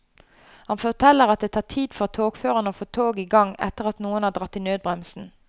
Han forteller at det tar tid for togføreren å få toget i gang etter at noen har dratt i nødbremsen.